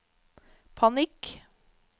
panikk